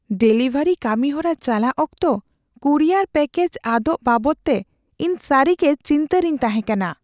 Delivery ᱠᱟᱹᱢᱤᱦᱚᱨᱟ ᱪᱟᱞᱟᱜ ᱚᱠᱛᱚ ᱠᱩᱨᱤᱭᱟᱨ ᱯᱮᱹᱠᱮᱡ ᱟᱫᱚᱜ ᱵᱟᱵᱚᱫᱛᱮ ᱤᱧᱫᱚ ᱥᱟᱹᱨᱤᱜᱮ ᱪᱤᱱᱛᱟᱹ ᱨᱤᱧ ᱛᱟᱦᱮᱸ ᱠᱟᱱᱟ ᱾